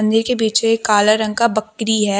मंदिर के पीछे काला रंग का बकरी है।